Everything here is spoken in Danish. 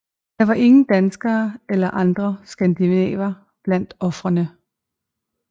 Der var ingen danskere eller andre skandinaver blandt ofrene